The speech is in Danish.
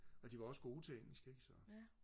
og de var også gode til engelsk ikke så